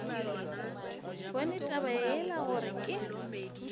bone gore taba yeo ke